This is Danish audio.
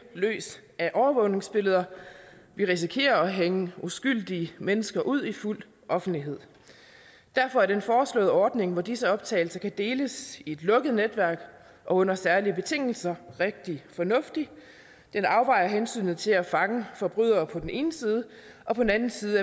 løs af overvågningsbilleder vi risikerer at hænge uskyldige mennesker ud i fuld offentlighed derfor er den foreslåede ordning hvor disse optagelser kan deles i et lukket netværk og under særlige betingelser rigtig fornuftig den afvejer hensynet til at fange forbrydere på den ene side og på den anden side